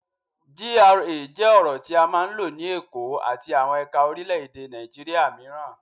GRA jẹ́ ọ̀rọ̀ tí a máa ń lò ní Èkó àti àwọn ẹ̀ka orílẹ̀-èdè Nàìjíríà mìíràn.